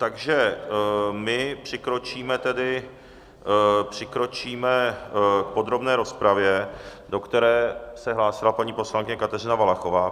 Takže tedy přikročíme k podrobné rozpravě, do které se hlásila paní poslankyně Kateřina Valachová.